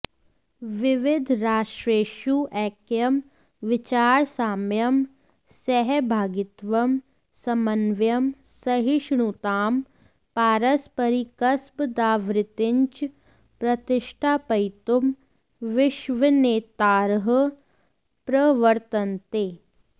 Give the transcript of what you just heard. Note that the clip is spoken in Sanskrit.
विविधराष्ट्रेषु ऎक्यं विचारसाम्यं सहभागित्वं समन्वयं सहिष्णुतां पारस्परिकसद्भाववृत्तिञ्च प्रतिष्ठापयितुं विश्वनेतारः प्रवर्तन्ते